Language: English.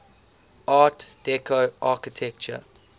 art deco architecture